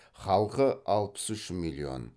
халқы алпыс үш миллион